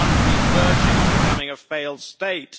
The country is verging on becoming a failed state.